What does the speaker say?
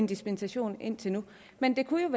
dispensation indtil nu men det kunne